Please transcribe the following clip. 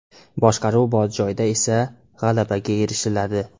Boshqaruv bor joyda esa g‘alabaga erishiladi.